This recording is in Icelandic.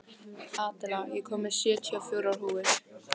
Adela, ég kom með sjötíu og fjórar húfur!